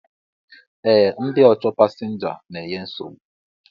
E, ndị ọchọ pasinja n'enye nsogbu